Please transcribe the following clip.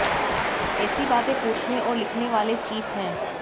ऐसी बातें पूछने और लिखने वाले चीप हैं